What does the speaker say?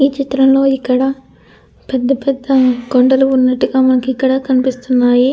ఈ చిత్రంలో ఇక్కడ పెద్ద పెద్ద కొండలు ఉన్నట్టుగా మనకి ఇక్కడ కనిపిస్తున్నాయి.